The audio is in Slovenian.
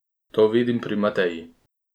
To vidim pri Mateji.